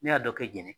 Ne y'a dɔ kɛ jɛnɛ ye